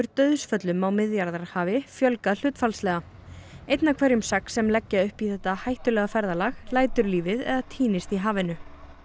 dauðsföllum á Miðjarðarhafi fjölgað hlutfallslega einn af hverjum sex sem leggja upp í þetta hættulega ferðalag lætur lífið eða týnist í hafinu